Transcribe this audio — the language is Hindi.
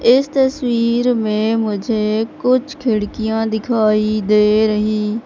इस तस्वीर में मुझे कुछ खिड़कियां दिखाई दे रही--